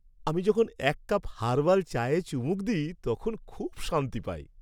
আমি যখন এক কাপ হার্বাল চায়ে চুমুক দিই তখন খুব শান্তি পাই।